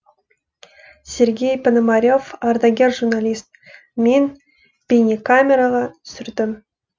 сергей пономарев ардагер журналист мен бейнекамераға түсірдім